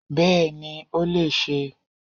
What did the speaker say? Bẹ́ẹ̀ni ó lè sé